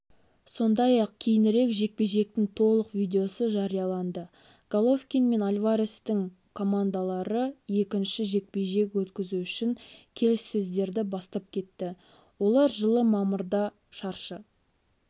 сондай-ақ кейінірек жекпе-жектің толық видеосы жарияланды головкин мен альварестің командалары екінші жекпе-жек өткізу үшін келіссөздерді бастап кетті олар жылы мамырда шаршы